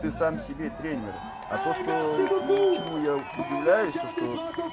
ты сам себе тренер а то что чему я удивляюсь что